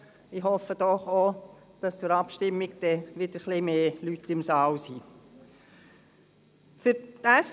Ich hoffe doch, dass bei dieser Abstimmung wieder etwas mehr Leute im Saal sein werden.